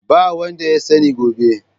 Ba wanda ya sani gobe.